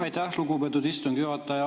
Aitäh, lugupeetud istungi juhataja!